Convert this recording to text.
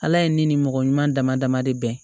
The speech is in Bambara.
Ala ye ne ni mɔgɔ ɲuman dama dama de bɛn